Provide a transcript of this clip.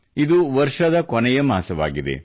ಇದು ವರ್ಷದ ಕೊನೆಯ ಮಾಸವಾಗಿದೆ